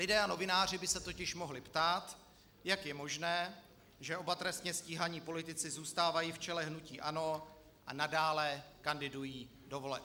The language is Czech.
Lidé a novináři by se totiž mohli ptát, jak je možné, že oba trestně stíhaní politici zůstávají v čele hnutí ANO a nadále kandidují do voleb.